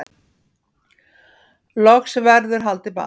Loks verður haldið ball